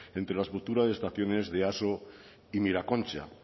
entre las futuras estaciones de easo y miraconcha